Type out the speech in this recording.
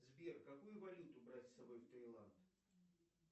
сбер какую валюту брать с собой в тайланд